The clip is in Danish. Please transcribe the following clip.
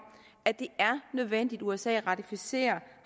at det er nødvendigt at usa ratificerer